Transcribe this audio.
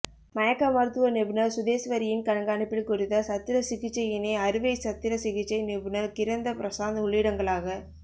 மயக்க மருத்துவ நிபுணர் சுதேஸ்வரியின் கண்காணிப்பில் குறித்த சத்திர சிகிச்சையினை அறுவை சத்திர சிகிச்சை நிபுணர் கிரந்த பிரசாத் உள்ளிடங்கலாக